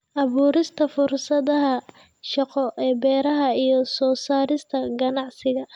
Abuurista fursadaha shaqo ee beeraha iyo soo saarista ganacsiga.